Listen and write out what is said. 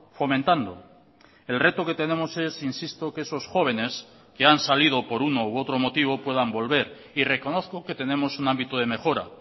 fomentando el reto que tenemos es insisto que esos jóvenes que han salido por uno u otro motivo puedan volver y reconozco que tenemos un ámbito de mejora